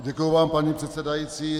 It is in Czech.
Děkuji vám, paní předsedající.